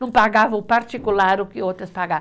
Não pagava o particular o que outras